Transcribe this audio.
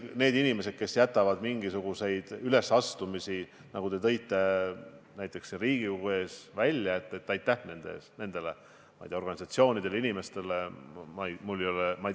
Need inimesed, kes jätavad mingisugused ülesastumised ära, nagu te tõite näitena välja selle Riigikogu hoone ees toimuma pidanud ürituse – aitäh neile organisatsioonidele, inimestele!